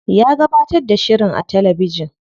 Ya gabatar da shirin a talabijin.